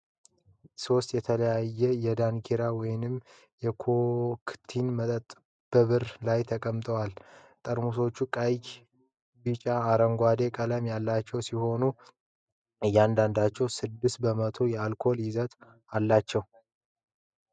ሶስት የተለያዩ የዳንኪራ ወይን ኮክቴል መጠጦች በብርድ ላይ ተቀምጠዋል። ጠርሙሶቹ ቀይ፣ ቢጫና አረንጓዴ ቀለም ያላቸው ሲሆን እያንዳንዳቸው ስድስት በመቶ የአልኮል ይዘት አላቸው።